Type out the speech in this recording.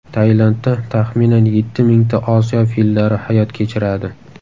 Tailandda taxminan yetti mingta Osiyo fillari hayot kechiradi.